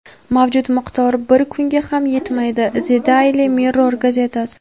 mavjud miqdor bir kunga ham yetmaydi – "The Daily Mirror" gazetasi.